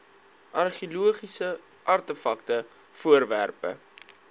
argeologiese artefakte voorwerpe